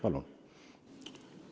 Palun!